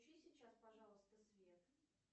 включи сейчас пожалуйста свет